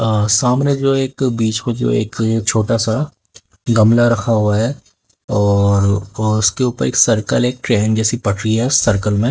आह सामने जो है एक बीच को जो एक छोटा सा गमला रखा हुआ है और और उसके ऊपर एक सर्कल एक ट्रेन जैसी पटरी है सर्कल मे।